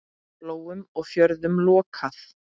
Flóum og fjörðum lokað.